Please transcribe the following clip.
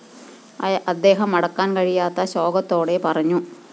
അദ്ദേഹം അടക്കാന്‍ കഴിയാത്ത ശോകത്തോടെ പറഞ്ഞു